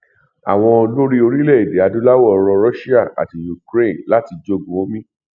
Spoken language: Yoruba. àwọn olórí orílẹ èdè adúláwò rọ russia àti ukraine láti jogún o mi